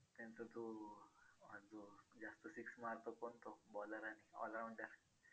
six मारतो कोण तो bowler आणि allrounder